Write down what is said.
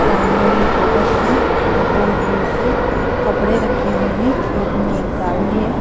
सामने में गोबर की गोल गोल सी थपड़े हुऐ है खेत में एक गाड़ी है।